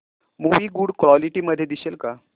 movie good quality मध्ये दिसेल का